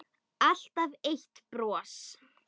Alltaf eitt bros.